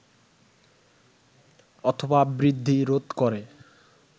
অথবা বৃদ্ধি রোধ করে